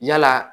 Yala